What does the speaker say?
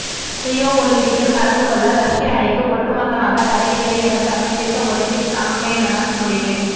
Rio ஒலிம்பிக்கில் கலந்து கொள்ள ரஷ்ய அணிக்கு ஒட்டுமொத்தமாக தடையில்லை என சர்வதேச ஒலிம்பிக் சம்மேளனம் முடிவு